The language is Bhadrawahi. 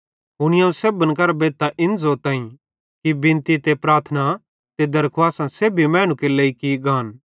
हुनी अवं सेब्भन करां बेद्धतां इन ज़ोताईं कि बिनती ते प्रार्थनां ते दरखुवासां सेब्भी मैनू केरे लेइ की गान